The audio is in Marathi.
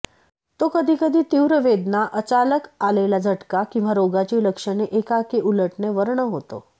तो कधी कधी तीव्र वेदना अचालक आलेला झटका किंवा रोगाची लक्षणे एकाएकी उलटणे वर्ण होतो